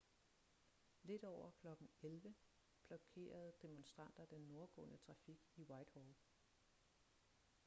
lidt over kl. 11:00 blokerede demonstranter den nordgående trafik i whitehall